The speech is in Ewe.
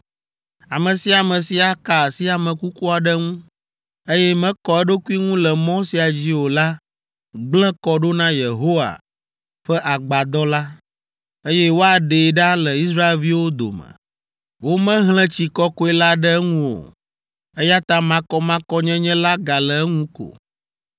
Ame sia ame si aka asi ame kuku aɖe ŋu, eye mekɔ eɖokui ŋu le mɔ sia dzi o la gblẽ kɔ ɖo na Yehowa ƒe agbadɔ la, eye woaɖee ɖa le Israelviwo dome. Womehlẽ tsi kɔkɔe la ɖe eŋu o, eya ta makɔmakɔnyenye la gale eŋu ko.